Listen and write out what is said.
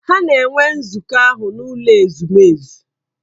Ha na-enwe nzukọ ahụ n’ụlọ ezumezu.